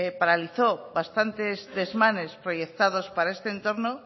paralizó bastantes desmanes proyectados para este entorno